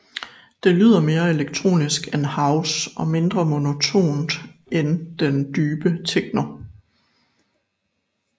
Det lyder mere elektronisk end house og mindre monotont end den dybe techno